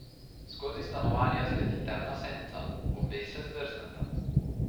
Skozi stanovanje zleti temna senca, obe se zdrzneta.